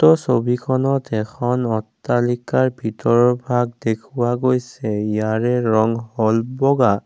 উক্ত ছবিখনত এখন অট্টালিকাৰ ভিতৰৰ ভাগ দেখুওৱা গৈছে ইয়াৰে ৰং হ'ল বগা।